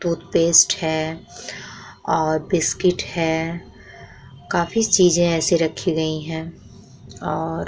toothpaste है और biscuit है काफी चीज़े ऐसे रखी गई है और--